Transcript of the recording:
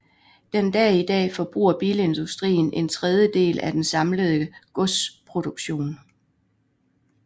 Den dag i dag forbruger bilindustrien en tredjedel af den samlede godsproduktion